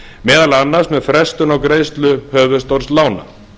meðal annars með frestun á greiðslu höfuðstóls lána